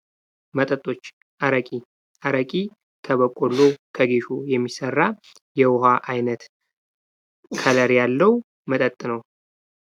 መጠጦች አረቄ አረቄ ከበቆሎ ከጌሾ የሚሠራ የውሃ ዓይነት ከለር ያለው መጠጥ ነው።